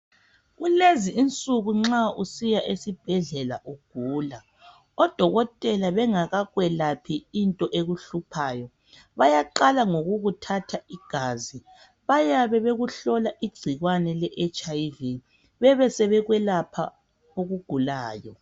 Kulezinsuku nxa usiya esibhedlela ugula, odokotela bengakakwelaphi into ekuhluphayo, bayaqala ngokukuthatha igazi, bayabe bekuhlola igcikwane le HIV ,bebesebekwelapha okugulayo.